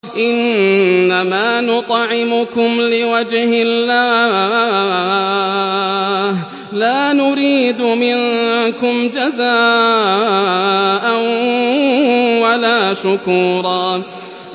إِنَّمَا نُطْعِمُكُمْ لِوَجْهِ اللَّهِ لَا نُرِيدُ مِنكُمْ جَزَاءً وَلَا شُكُورًا